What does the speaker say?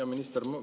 Hea minister!